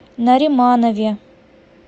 нариманове